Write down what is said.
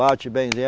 Bate bem.